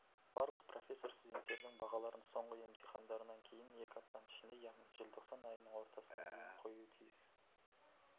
барлық профессор студенттердің бағаларын соңғы емтихандарынан кейін екі аптаның ішінде яғни желтоқсан айының ортасына дейін қоюы тиіс